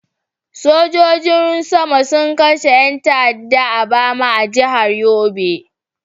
Sojojin sama sun kashe yan ta'adda a Bama a jihar Yobe.